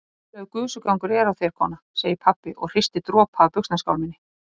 Voðalegur gusugangur er á þér kona, segir pabbi og hristir dropa af buxnaskálminni.